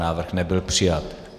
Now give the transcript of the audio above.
Návrh nebyl přijat.